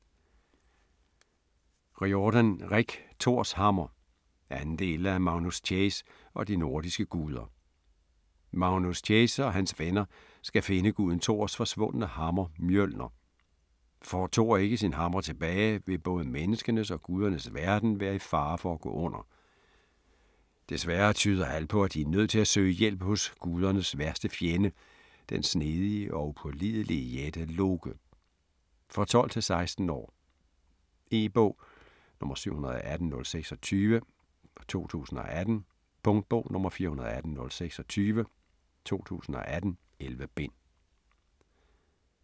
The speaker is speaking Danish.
Riordan, Rick: Thors hammer 2. del af Magnus Chase og de nordiske guder. Magnus Chase og hans venner skal finde guden Thors forsvundne hammer, Mjølner. Får Thor ikke sin hammer tilbage, vil både menneskenes og gudernes verden være i fare for at gå under. Desværre tyder alt på, at de er nødt til at søge hjælp hos guderne værste fjende, den snedige og upålidelige jætte, Loke. For 12-16 år. E-bog 718026 2018. Punktbog 418026 2018. 11 bind.